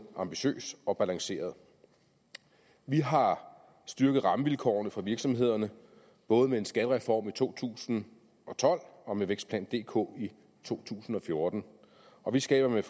ambitiøs og balanceret vi har styrket rammevilkårene for virksomhederne både med en skattereform i to tusind og tolv og med vækstplan dk i to tusind og fjorten og vi skaber med